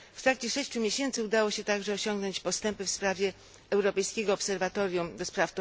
W trakcie sześciu miesięcy udało się także osiągnąć postępy w sprawie europejskiego obserwatorium ds.